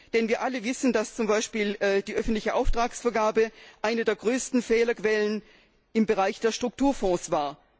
Denn wir alle wissen, dass etwa die öffentliche Auftragsvergabe eine der größten Fehlerquellen im Bereich der Strukturfonds war.